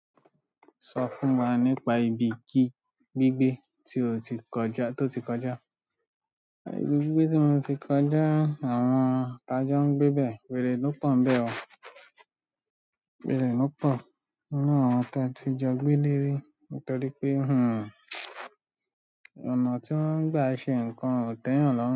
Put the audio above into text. Sọ fún wa nípa ibi ki gígbé tí o ti kọjá, toti kọjá. Ibi gbigbe ti moti kọjá, àwọn ta jo n gbe be were lo po níbẹ̀ o. Wèrè ló pọ̀ nínú àwọn ta ti jọ gbé léri nítorí pé, hmmm ọ̀nà tí wọ́n ń gbà ṣe ǹkan ò tẹ́yàn lọ́run.